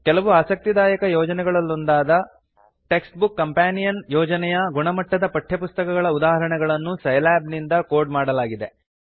ಕೆಲವು ಆಸಕ್ತಿದಾಯಕ ಯೋಜನೆಗಳಲ್ಲೊಂದಾದ ಟೆಕ್ಸ್ಟ್ಬುಕ್ ಕಂಪೆನಿಯನ್ ಯೋಜನೆಯು ಗುಣಮಟ್ಟದ ಪಠ್ಯಪುಸ್ತಕಗಳ ಉದಾಹರಣೆಗಳನ್ನು ಸೈಲ್ಯಾಬ್ ನಿಂದ ಕೋಡ್ ಮಾಡಲಾಗಿದೆ